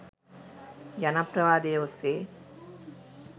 ජනප්‍රවාදය ඔස්සේ